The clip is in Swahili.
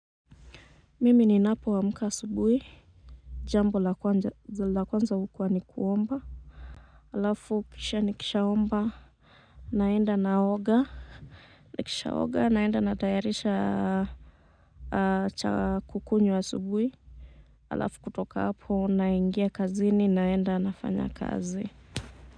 Mimi ninapo amka asubuhi. Jambo la kwanza hukua ni kuomba. Alafu kisha nikishaomba. Naenda naoga. Nikishaoga naenda natayarisha. Cha kukunywa asubuhi. Alafu kutoka hapo naingia kazini naenda nafanya kazi.